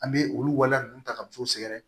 An bɛ olu waleya ninnu ta ka musow sɛgɛrɛ